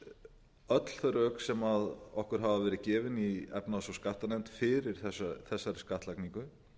öll þau rök sem okkur hafa verið gefin í efnahags og skattanefnd fyrir þessari skattlagningu